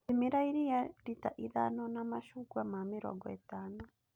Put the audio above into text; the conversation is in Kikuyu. Thimĩra iria rita ithano na macungwa ma mĩrongo ĩtano.